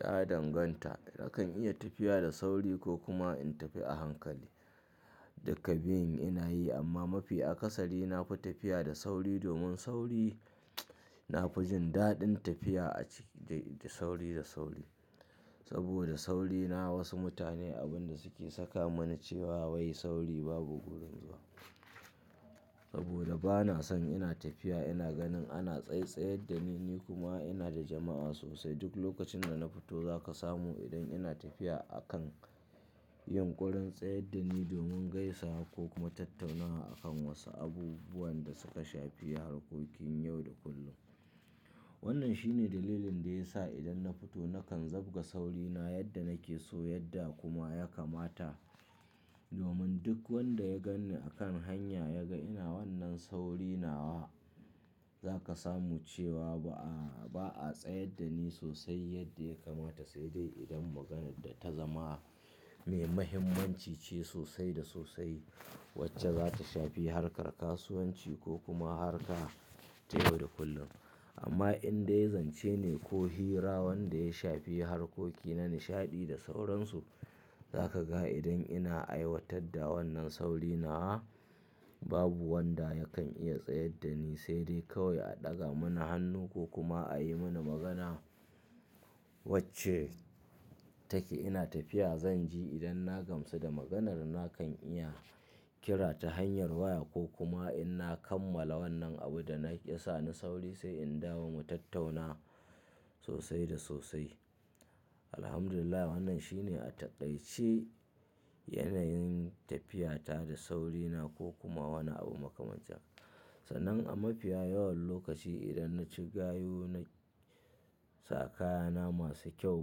Ya danganta. Nakan iya tafiya da sauri ko kuma in tafi a hankali. Duka biyun ina yi amma mafi akasari na fi tafiya da sauri domin sauri na fi jin daɗin tafiya a ciki da, da sauri da sauri. Saboda sauri na wasu mutane abin da suke saka mani cewa wai sauri babu gudun zuwa. Saboda bana son ina tafiya ina ganin ana tsaitsayar da ni, ni kuma ina da jama'a sosai. Duk lokacin da na fito za ka samu idan ina tafiya a kan yunkurin tsayar da ni domin gaisawa ko kuma tattaunawa a kan wasu abubuwan da suka shafi harkokin yau da kullum. Wannan shine dalilin da ya sa idan na fito nakan zabga saurina yadda nake so yadda kuma ya kamata. Domin duk wanda ya gan ni a kan hanya ya ga ina wannan sauri nawa za ka samu cewa ba a, ba a tsayar da ni sosai yadda ya kamata. Sai dai idan maganar da ta zama mai mahimmanci ce sosai da sosai wacce za ta shafi harkar kasuwanci ko kuma harka ta yau da kullum. Amma indai zance ne ko hira wanda ya shafi harkoki na nishaɗi da sauransu, za ka ga idan ina aiwatar da wannan sauri nawa, babu wanda yakan iya tsayar da ni. Sai dai kawai a ɗaga mana hannu ko kuma a yi mana magana wacce take ina tafiya. Zan ji idan na gamsu da maganar na kan iya kira ta hanyar waya ko kuma in na kammala wannan abun da na ke sa ni sauri sai in dawo mu tattauna sosai da sosai. Alhamdulillah wannan shine a taƙaice yanayin tafiyata da saurina ko kuma wani abu makamancin. Sannan a mafiya yawan lokaci idan na ci gayu na sa kaya na masu kyau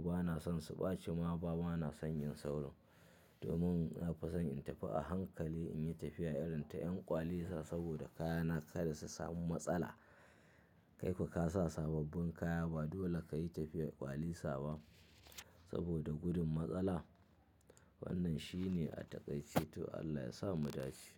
bana son su ɓaci ma ba bana son yin saurin. Domin na fi son in tafi a hankali in yi tafiya irin ta 'yan ƙwalisa. Saboda kaya na kada su samu matsala. Kai kuwa ka sa sababbin kaya ba dole ka yi tafiyar ƙwalisa ba saboda gudun matsala. Wannan shine a taƙaice to Allah ya sa mu dace.